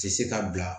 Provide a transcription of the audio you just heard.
Tɛ se ka bila